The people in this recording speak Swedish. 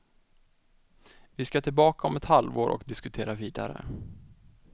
Vi skall tillbaka om ett halvår och diskutera vidare.